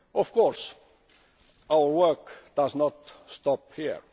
Of course, our work does not stop here.